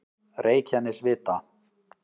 Reykjanesvita